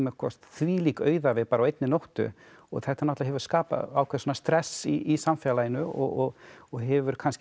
þvílík auðævi bara á einni nóttu og þetta hefur skapað ákveðið stress í samfélaginu og og hefur kannski